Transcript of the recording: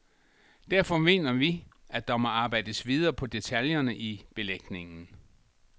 Derfor mener vi, at der må arbejdes videre på detaljerne i belægningen.